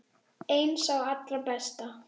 Einn sá allra besti.